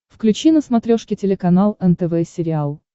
включи на смотрешке телеканал нтв сериал